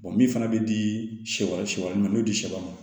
min fana bɛ di sɛ sɛ wɛrɛ ma n'o di sɛ ma